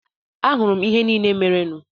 Ahụrụ m ihe niile merenụ.